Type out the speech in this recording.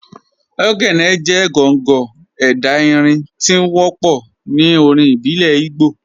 Ogene jẹ̀ gọ̀ngọ̀ ẹdá irin tí o wọpọ̀ ní orin ìbílẹ̀ Ìgbò.